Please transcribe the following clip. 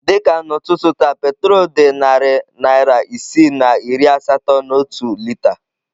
Dị ka n'ụtụtụ taa petrol dị narị naira isii na iri asatọ na otu lita.